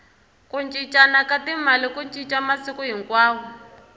ku cincana ka timali ku cinca masiku hinkwawo